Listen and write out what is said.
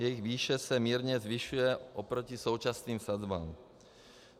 Jejich výše se mírně zvyšuje oproti současným sazbám.